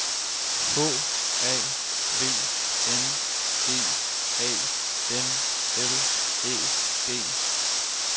H A V N E A N L Æ G